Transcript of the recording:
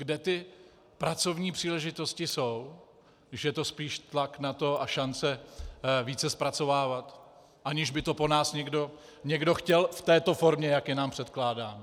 Kde ty pracovní příležitosti jsou, když je to spíš tlak na to a šance více zpracovávat, aniž by to po nás někdo chtěl v této formě, jak je nám předkládáno?